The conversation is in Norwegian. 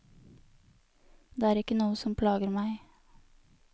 Det er ikke noe som plager meg.